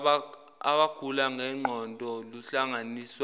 abagula ngengqondo luhlanganiswa